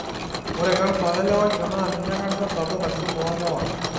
Ore kansa olewaisho naa ninye kansa sapuk aisul toolewa.